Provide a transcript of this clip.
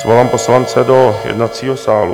Svolám poslance do jednacího sálu.